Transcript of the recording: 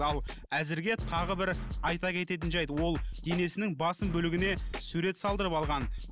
ал әзірге тағы бір айта кететін жайт ол денесінің басым бөлігіне сурет салдырып алған